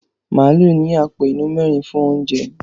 Màálù ní àpò inú mẹ́rin fún oúnjẹ.